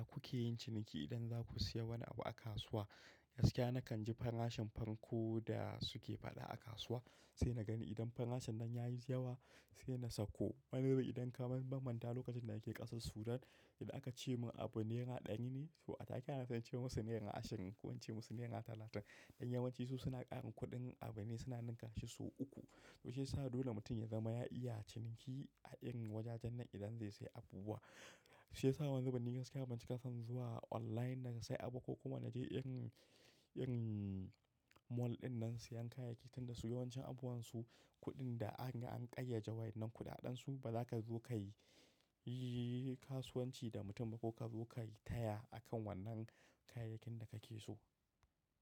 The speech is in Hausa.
Ya kuke yin ciniki idan za ku sayi wani abu a kasuwa, gaskiya na kan ji farashin farko da suke faɗa a kasuwa sai na gani idan farashin nan ya yi yawa sai na sakko. Wani wuri idan ka bambanta lokacin da yake ƙasar Sudan, idan aka ce mun abu naira ɗaya ne, to a take ana son ce musu naira ashirin ko wance musu naira talatin. Dan yawancin su suna ƙarin kuɗin abune suna ninka shi sau uku. To shiyasa dole mutum ya zama ya iya ciniki a irin wajajen nan idan zai sayi abubuwa. Shiyasa wani zubin ni gaskiya ban ci ka san zuwa online na sayi abu ko kuma na je irin, irin mall ɗinan siyan kayayyaki tunda su yawancin abuwansu kuɗin da an, an ƙayyade wai wannan kuɗaɗen su ba zaka zo ka yi kasuwanci da mutum ba ko ka zo ka yi taya akan wannan kayayyakin da kake so.